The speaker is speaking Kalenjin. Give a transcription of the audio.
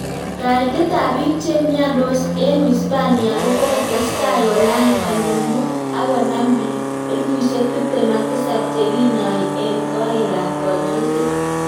Kaitet ap piik chemiandos eng uisapania kokotestai kolany konyil muut ak konam piik elefusiek tiptem ak tisap chekinyai eng korik ap kanyoiset